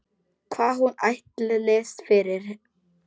Hvað hún ætlist fyrir.